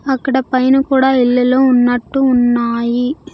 అక్కడ పైన కూడా ఇల్లులు ఉన్నట్టు ఉన్నాయి.